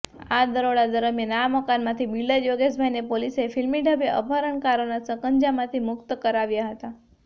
આ દરોડા દરમિયાન આ મકાનમાંથી બિલ્ડર યોગેશભાઈને પોલીસે ફિલ્મીઢબે અપહરણકારોના સકંજામાંથી મુક્ત કરાવ્યા હતા